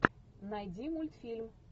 найди мультфильм